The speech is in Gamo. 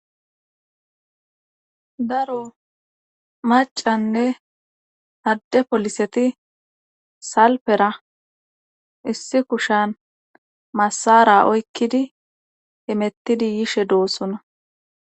daro macanne adde poliseti salpera issi kushan masara oykkidi hemettidi yishe doossona